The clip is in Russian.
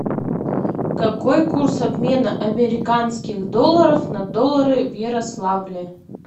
какой курс обмена американских долларов на доллары в ярославле